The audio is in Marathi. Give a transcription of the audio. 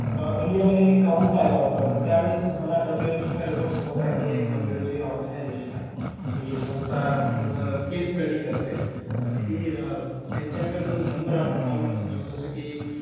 इंडियामध्ये मी काउंट पाहिला होता. पण त्यावेळेस मला WHO चा रिपोर्ट समजला की एक WHO हि ऑर्गनाईझेशन आहे. हि संस्था पूर्ण केस स्टडी करते. आणि ती त्यांच्याकडे जो नंबर ऑफ काउंट जो जस की,